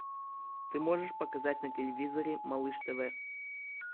ты можешь показать на телевизоре малыш тв